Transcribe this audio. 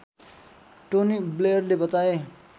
Tony ब्लेयरले बताए